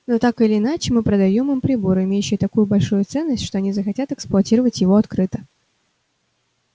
но так или иначе мы продаём им прибор имеющий такую большую ценность что они захотят эксплуатировать его открыто